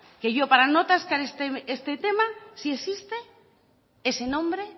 que yo para no atascar este tema si existe ese nombre